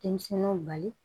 Denmisɛnninw bali